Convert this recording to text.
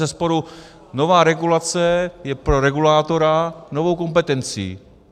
Bezesporu nová regulace je pro regulátora novou kompetencí.